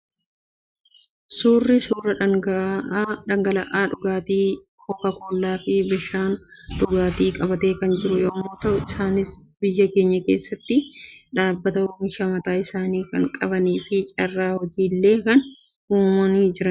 Suurri kun, suuraa dhangala'aa dhugaatii kookaa kollaa fi bishaan dhugaatii qabatee kan jiru yemmuu ta'u, isaanis biyya keenya keessatti dhaabbata oomishaa mataa isaanii kan qabanii fi carraa hojii illee kan uuma jiranidha.